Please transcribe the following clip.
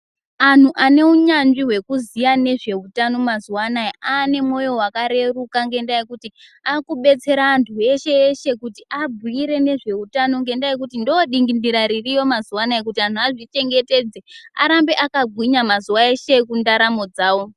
Anhu ane hunyanzvi hwekuziwa nezvehutano mazuwanaya ane mwoyo wakareruka ngenda yekuti akubetsera antu eshe eshe abhuire ngezvehutano ngendaa yekuti ndiro ndingindira ririko mazuwanaya kuti anhu azvichengetedze arbe akagwinya mazuva eshe ekundaramo dzawo.